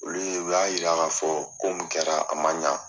Olu ye o y'a yira k'a fɔ ko min kɛra a man ɲa.